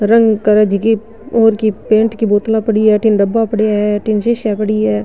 रंग करे जकी और की पेंट की बोतला पड़ी है अठीने डब्बा पड़या है अठीने सीसिया पड़ी है।